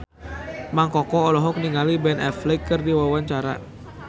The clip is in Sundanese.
Mang Koko olohok ningali Ben Affleck keur diwawancara